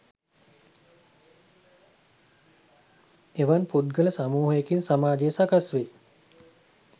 එවන් පුද්ගල සමූහයකින් සමාජය සකස් වේ